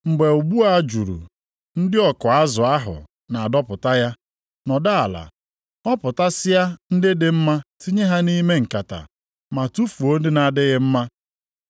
Mgbe ụgbụ a juru, ndị ọkụ azụ ahụ na-adọpụta ya. Nọdụ ala họpụtasịa ndị dị mma tinye ha nʼime nkata, ma tufuo ndị na-adịghị mma.